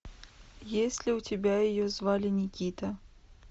есть ли у тебя ее звали никита